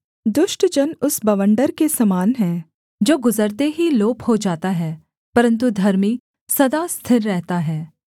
दुष्ट जन उस बवण्डर के समान है जो गुजरते ही लोप हो जाता है परन्तु धर्मी सदा स्थिर रहता है